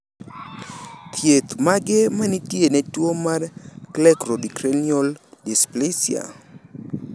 Thieth mage manitiere ne tuo mar cleidocranial dysplasia?